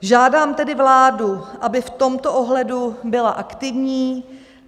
Žádám tedy vládu, aby v tomto ohledu byla aktivní.